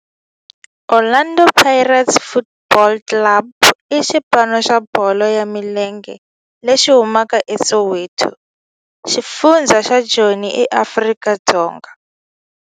Orlando Pirates Football Club i xipano xa bolo ya milenge lexi humaka eSoweto, xifundzha xa Joni, Afrika-Dzonga.